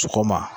Sɔgɔma